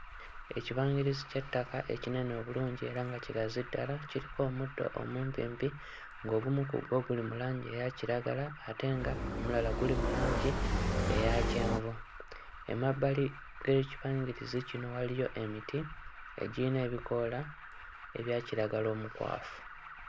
Ekibangirizi ky'ettaka ekinene obulungi era nga kigazi ddala, kiriko omuddo omumpimpi ng'ogumu ku gwo guli mu langi eya kiragala ate nga omulala guli mu langi eya kyenvu, emabbali g'ekibangirizi kino waliyo emiti egiyina ebikoola ebya kiragala omukwafu.